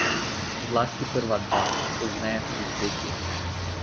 Zlasti prva dva, pozneje tudi tretji.